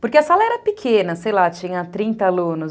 Porque a sala era pequena, sei lá, tinha trinta alunos.